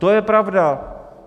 To je pravda.